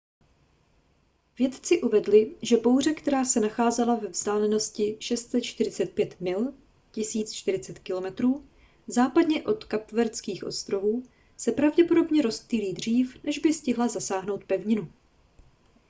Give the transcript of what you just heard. vědci uvedli že bouře která se nacházela ve vzdálenosti 645 mil 1040 km západně od kapverdských ostrovů se pravděpodobně rozptýlí dřív než by stihla zasáhnout pevninu